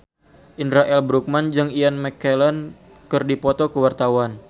Indra L. Bruggman jeung Ian McKellen keur dipoto ku wartawan